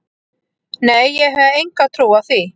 Nei ég hef enga trú á því.